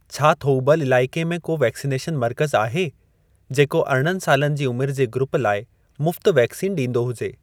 छा थोउबल इलाइके में को वैक्सनेशन मर्कज़ आहे जेको अरिणनि सालनि जी उमिर जे ग्रूप लाइ मुफ़्त वैक्सीन ॾींदो हुजे?